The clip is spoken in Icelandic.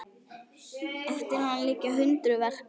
Eftir hann liggja hundruð verka.